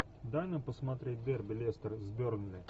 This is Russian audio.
дай нам посмотреть дерби лестер с бернли